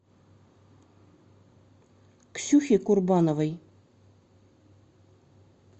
ксюхе курбановой